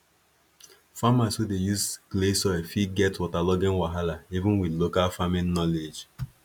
farmers wey dey use clay soil fit get waterlogging wahala even with local farming knowledge